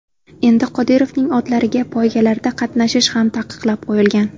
Endi Qodirovning otlariga poygalarda qatnashish ham taqiqlab qoyilgan.